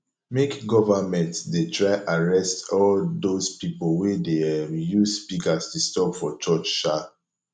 make govament dey try arrest all dose pipol wey dey um use speakers disturb for church um